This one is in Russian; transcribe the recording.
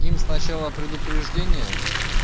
им сначала предупреждение